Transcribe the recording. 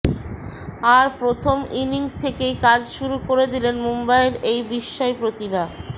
আর প্রথম ইনিংস থেকেই কাজ শুরু করে দিলেন মুম্বইয়ের এই বিস্ময় প্রতিভা